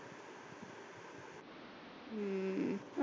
ਹਮ